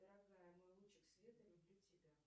дорогая мой лучик света люблю тебя